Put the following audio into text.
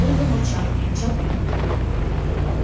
ольга молчала молчал и я